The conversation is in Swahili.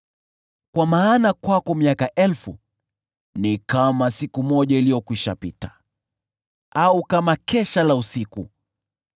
Kwa maana kwako miaka elfu ni kama siku moja iliyokwisha pita, au kama kesha la usiku.